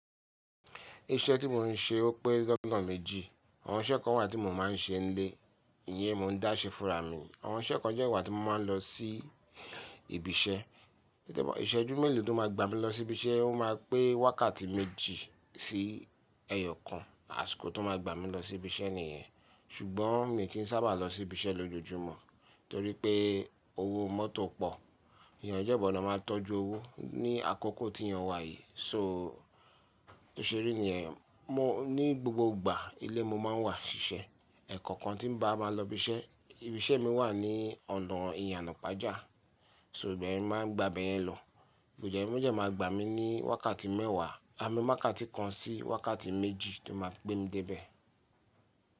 Iṣẹ́ tí mo ń ṣe ó pé lọ́na méjì. Àwọn iṣẹ́ kan wà tí mo máa ń ṣe n lé, ìyẹn mo ń dá sé fùnrà mi ni. Àwọn iṣẹ́ kan dẹ́ wa tí mo máa ń lọ sí ibi iṣẹ́. Nte ba ìṣẹ́jú mélòó tó máa gbá mi lọ sí ibi iṣẹ́, ó máa pé wákàtí méjì sí ẹyọkan, àsìkò tó máa gbá mi lọ sí ibi iṣẹ́ nìyẹn. Ṣùgbọ́n mi kì í sábà lọ sí ibi iṣẹ́ lójoojúmọ́ torí pé owó mọ́tò pọ̀. Èèyàn jẹ́ gbọ̀dọ̀ máa ń tọ́jú owó ní àkókò tí èèyàn wà yìí. So tó ṣe rí nìyẹn, mo ní gbogbo ìgbà ilé mo máa ń wà ṣiṣẹ́. Ẹ̀ẹ̀koọ̀kan tí n bá máa lọ ibi iṣẹ́, ibi iṣẹ́ mi wà ní ọ̀nà ìyànà pàjá, so ibẹ̀yẹ̀n mo máa ń gba ibẹ̀yẹn lọ. Boje boje máa gbá mi ní wákàtí mẹ́wàá, àmì wákàtí kan sí wákàtí méjì ti máa gbemi dé ibẹ̀